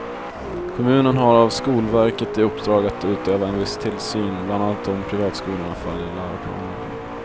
Kommunen har av skolverket i uppdrag att utöva en viss tillsyn, bland annat om privatskolorna följer läroplanen.